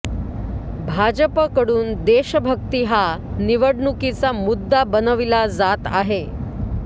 भाजपकडून देशभक्ती हा निवडणुकीचा मुद्दा बनविला जात आहे